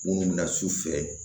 Minnu bɛna su fɛ